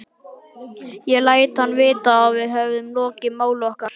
Ég læt hann vita, að við höfum lokið máli okkar.